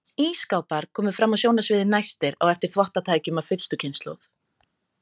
Ísskápar komu fram á sjónarsviðið næstir á eftir þvottatækjum af fyrstu kynslóð.